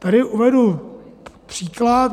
Tady uvedu příklad.